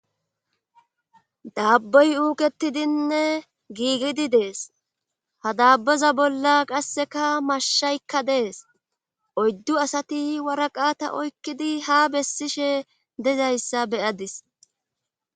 daabbey uuketidinne giigidi dees ha daabbeza bolla qasseka mashshaykka dees oyddu asati waraqata oykkidi ha bessishe dezayssa beyadis